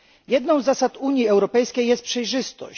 Jedną z zasad Unii Europejskiej jest przejrzystość.